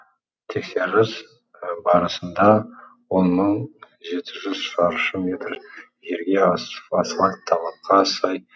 тексеріс барысында он мың жеті жүз шаршы метр жерге асфальт талапқа сай